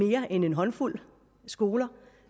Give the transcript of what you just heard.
mere end en håndfuld skoler